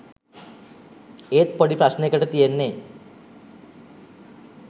ඒත් පොඩි ප්‍රශ්නෙකට තියෙන්නෙ